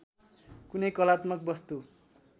कुनै कलात्मक वस्तु